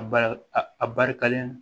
A bari a barikalen